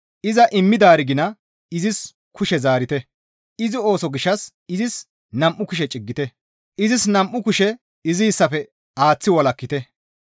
Iza immidaari gina izis kushe zaarite; izi ooso gishshas izis nam7u kushe ciggite; izis nam7u kushe iziyssafe aaththi walakkite.